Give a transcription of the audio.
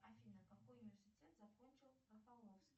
афина какой университет закончил рафаловский